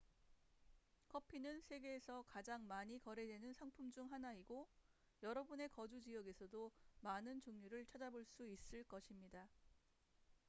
커피는 세계에서 가장 많이 거래되는 상품 중 하나이고 여러분의 거주 지역에서도 많은 종류를 찾아볼 수 있을 것입니다